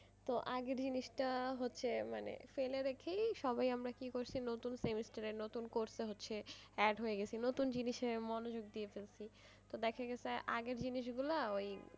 তো আগের জিনিসটা হচ্ছে মানে ফেলে রেখেই সবাই আমরা কি করছি নতুন semester এ হচ্ছে নতুন course এ হচ্ছে add হয়ে গেছে নতুন জিনিসে মনোযোগ দিয়া ফেলছি তো দেখা গেছে আগের জিনিস গুলা,